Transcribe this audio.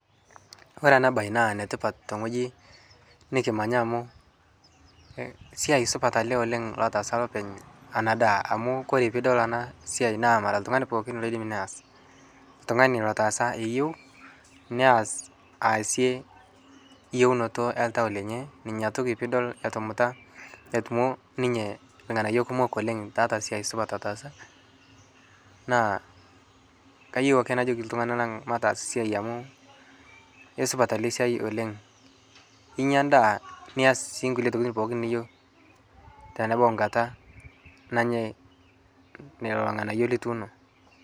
Koree ena bae na enetipat teng'ueji nikimanya amu esia supat naleng' oleng' lataasa lopeny ena daa amu koree pidol enaa siai naa mara neme oltung'ani pookin neyas. Oltung'ani lotaasa eyieu neyas aasie eyiuonoto oltau lenye. Inyatoki pidol etumuta amu ninye ng'anayio kumok oleng' tiatua esiai sidai nataasa naa kayieu ake najoki iltung'ana lang' mataas esiai amuu esupat ele siai oleng'. Inyaa edaa niyas kulie tokitin pookin niyeu tenebau nkata nenyae lelo ng'anayo lituuno.